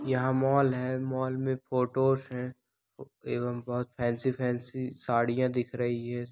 यहां मॉल है मॉल में फोटोस है एवम बहुत फैंसी फैंसी सारिया दिख रही है।